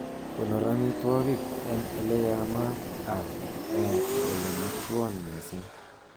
Konor amitwogik en ele yamat ak ele motwon missing